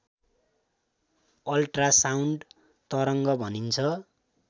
ultrasound तरङ्ग भनिन्छ